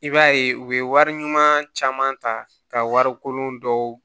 I b'a ye u bɛ wari ɲuman caman ta ka wari kolon dɔw